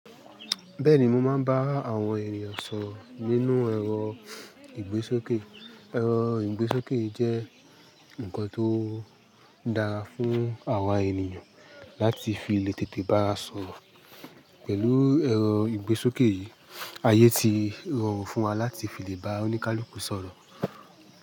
Bẹ́ẹ̀ni mo máa ń bá àwọn ènìyàn sọ̀rọ̀ nínú ẹ̀rọ ìgbésókè. Ẹ̀rọ ìgbésókè jẹ́ ǹkan tó dára fún àwa ènìyàn láti fi lè tètè bá sọ̀rọ̀. Pẹ̀lú ẹ̀rọ ìgbésókè yìí ayé ti rọrùn fún wa láti fi lè bá oníkálukú sọ̀rọ̀